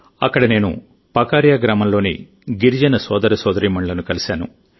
అక్కడ నేను పకరియా గ్రామంలోని గిరిజన సోదరసోదరీమణులను కలిశాను